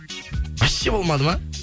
вообще болмады ма